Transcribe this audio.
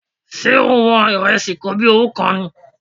Ṣé o wọn ìrẹsì kobíowú kan?